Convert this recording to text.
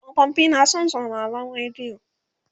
tsofaffi na san sauraron rediyo